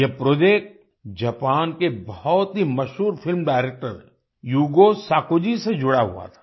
यह project Japan के बहुत ही मशहूर film director Yugo Sako ji से जुड़ा हुआ था